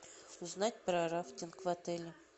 узнать про рафтинг в отеле